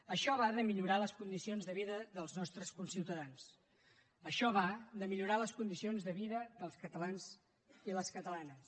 això va de millorar les condicions de vida dels nostres conciutadans això va de millorar les condicions de vida dels catalans i les catalanes